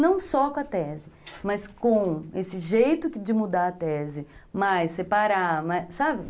Não só com a tese, mas com esse jeito de mudar a tese, mais, separar, sabe?